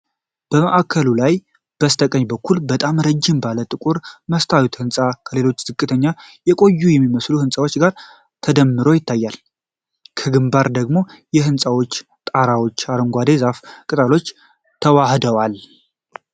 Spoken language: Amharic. በማዕከሉ ላይ በስተቀኝ በኩል በጣም ረጅም ባለ ጥቁር መስታወት ህንፃ ከሌሎች ዝቅተኛና የቆዩ የሚመስሉ ህንፃዎች ጋር ተደምሮ ይታያል። ከግንባር ደግሞ የህንፃዎች ጣራዎችና የአረንጓዴ ዛፍ ቅጠሎች ተዋህደዋል።